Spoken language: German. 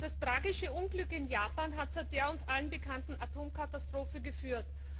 Das tragische Unglück in Japan hat zu der uns allen bekannten Atomkatastrophe geführt.